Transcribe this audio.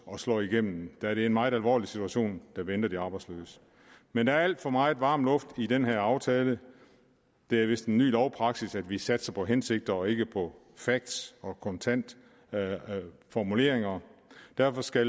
og slår igennem da det er en meget alvorlig situation der venter de arbejdsløse men der er alt for meget varm luft i den her aftale det er vist en ny lovpraksis at vi satser på hensigter og ikke på facts og kontante formuleringer derfor skal